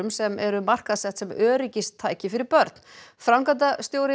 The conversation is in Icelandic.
sem eru markaðsett sem öryggistæki fyrir börn framkvæmdastjóri